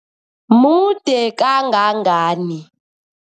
Mude kangangani?